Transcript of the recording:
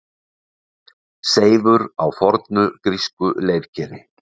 Seifur á fornu grísku leirkeri.